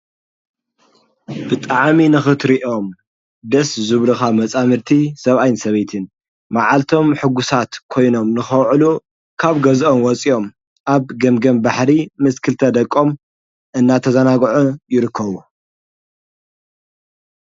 ብጣዕሚ ንኽትሪእዮም ደስ ዙብልኻ መፃምድቲ ሰብኣይን ሰበይትን መዓልቶም ሕጉሳት ኮይኖም ንኸውዕሉ ካብ ገዝኦም ወፂኦም ኣብ ገምገም ባሕሪ ምስክልተ ደቆም እናተዘናጕዑ ይርከቡ።